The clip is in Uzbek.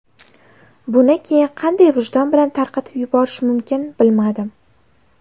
Buni keyin qanday vijdon bilan tarqatib yuborish mumkin bilmadim.